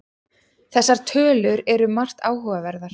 Þessar tölur eru margt áhugaverðar